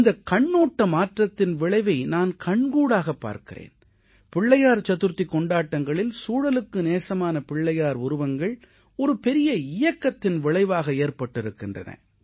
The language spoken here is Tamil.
இந்தக் கண்ணோட்ட மாற்றத்தின் விளைவை நான் கண்கூடாகப் பார்க்கிறேன் விநாயகர் சதுர்த்திக் கொண்டாட்டங்களில் சூழலுக்கு நேசமான பிள்ளையார் உருவங்கள் ஒரு பெரிய இயக்கத்தின் விளைவாக ஏற்பட்டிருக்கின்றன